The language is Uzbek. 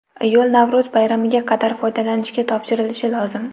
Yo‘l Navro‘z bayramiga qadar foydalanishga topshirilishi lozim.